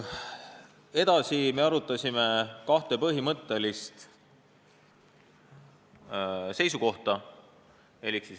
Seejärel arutasime kahte põhimõttelist seisukohta.